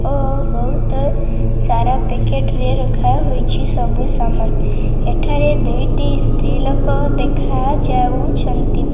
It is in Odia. ଓ ବହୁତ ସାରା ପ୍ୟାକେଟ ରେ ରଖାହୋଇଛି ସାରା ସାମାନ ଏଠାରେ ଦୁଇଟି ସ୍ତ୍ରୀ ଲୋକ ଦେଖାଯାଉଛନ୍ତି।